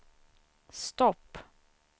stopp